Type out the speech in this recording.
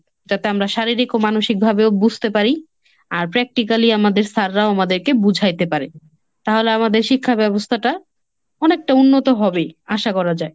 যাতে আমরা শারীরিক ও মানসিকভাবেও বুঝতে পারি, আর practically আমাদের sir রাও আমাদেরকে বুঝাইতে পারে। তাহলে আমাদের শিক্ষা ব্যবস্থাটা অনেকটা উন্নত হবে। আশা করা যায়।